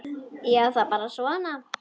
Já, það er bara svona.